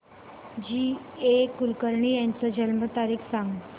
जी A Kulkarni यांची जन्म तारीख सांग